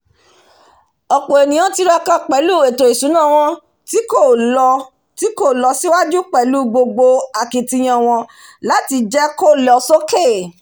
ọ̀pọ̀ ènìyàn tiraka pèlú ètò ìsúná wọn tí kò lo tí kò lo síwájú pẹ̀lú gbogbo akitiyan wọn làti jẹ́ kó lo sókè